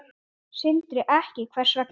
Sindri: Ekki, hvers vegna?